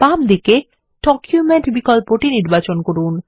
বাম দিকে ডকুমেন্ট বিকল্পটি নির্বাচন করুন